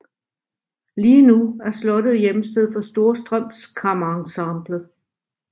Lige nu er slottet hjemsted for Storstrøms Kammerensemble